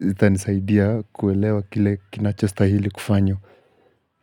zitanisaidia kuelewa kile kinachostahili kufanywa.